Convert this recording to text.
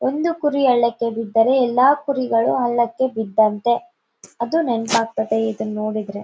ಒಂದು ಕುರಿ ಹಳ್ಳಕ್ಕೆ ಬಿದ್ದರೆ ಎಲ್ಲಾ ಕುರಿಗಳು ಹಳ್ಳಕ್ಕೆ ಬಿದ್ದಂತೆ ಅದು ನೆನ್ಪ್ ಆಗ್ತಾದೆ ಇದನ್ ನೋಡಿದ್ರೆ .